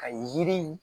Ka yiri